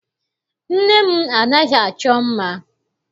Nne m anaghị achọ mma.